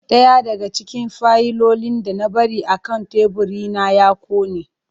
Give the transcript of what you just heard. Daya daga cikin fayilolin da na bari akan teburina ya kone.